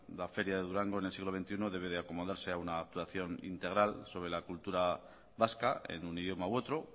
la feria de durango en el siglo veintiuno debe de acomodarse a una actuación integral sobre la cultura vasca en un idioma u otro